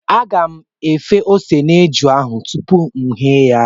Aga m efe ose n'eju ahụ tupu ghee ya.